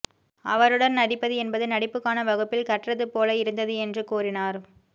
அவருடன் நடிப்பது என்பது நடிப்புக்கான வகுப்பில் கற்றது போல இருந்தது என்று கூறினார்